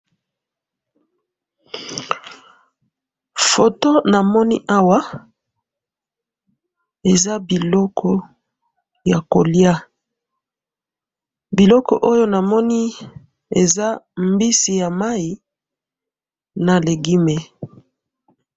Photo namoni awa eza biloko ya kolia, biloko oyo namoni eza mbisi ya mayi na legumes